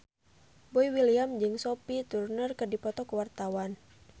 Boy William jeung Sophie Turner keur dipoto ku wartawan